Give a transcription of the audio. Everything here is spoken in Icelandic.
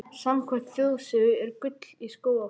Samkvæmt þjóðsögu er gull í Skógafossi.